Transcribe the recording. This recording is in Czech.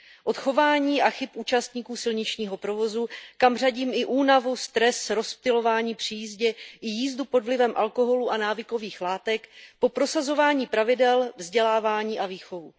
Od chování a chyb účastníků silničního provozu, kam řadím i únavu, stres, rozptylování při jízdě i jízdu pod vlivem alkoholu a návykových látek, po prosazování pravidel, vzdělávání a výchovu.